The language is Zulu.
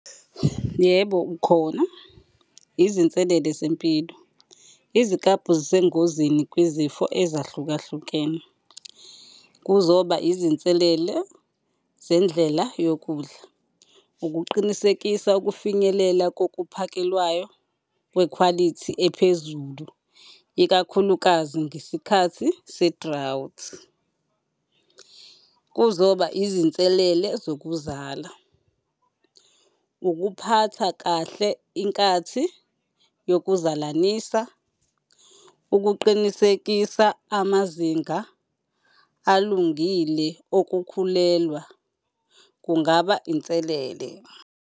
Yebo, ukhona izinselele zempilo. Iziklabhu zisengozini kwizifo ezahlukahlukene. Kuzoba izinselelo zendlela yokudla, ukuqinisekisa ukufinyelela kokuphakelwayo kwekhwalithi ephezulu, ikakhulukazi ngesikhathi se-drought. Kuzoba izinselele zokuzala, ukuphatha kahle inkathi yokuzalanisa. Ukuqinisekisa amazinga alungile okukhulelwa kungaba inselele.